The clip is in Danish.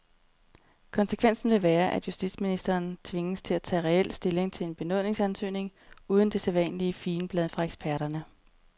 Konsekvensen vil være, at justitsministeren tvinges til at tage reel stilling til en benådningsansøgning uden det sædvanlige figenblad fra eksperterne.